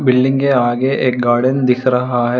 Building के आगे एक गार्डन दिख रहा है।